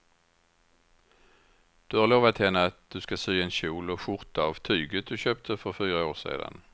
Du har lovat henne att du ska sy en kjol och skjorta av tyget du köpte för fyra år sedan.